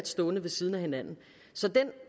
stående ved siden af hinanden så den